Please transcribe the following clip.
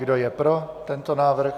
Kdo je pro tento návrh?